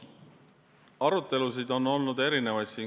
Arutelusid on olnud erinevaid.